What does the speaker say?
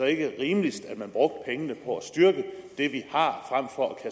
ikke rimeligst at man brugte pengene på at styrke det vi har frem for at